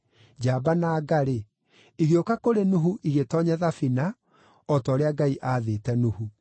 njamba na nga-rĩ, igĩũka kũrĩ Nuhu igĩtoonya thabina, o ta ũrĩa Ngai aathĩte Nuhu.